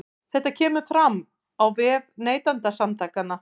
Þetta kemur fram á vef Neytendasamtakanna